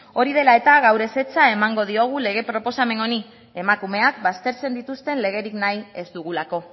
hori dela eta gaur ezetza emango diogu lege proposamen honi emakumeak baztertzen dituzten legerik nahi ez dugulako